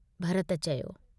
भरत चयो।